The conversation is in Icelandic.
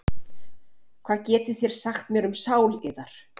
Hvað getið þér sagt mér um sál yðar?